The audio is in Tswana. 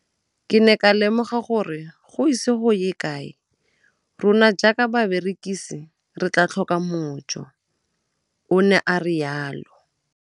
Ke ne ka lemoga gore go ise go ye kae rona jaaka barekise re tla tlhoka mojo, o ne a re jalo.